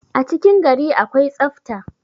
a cikin gari akwai tsafta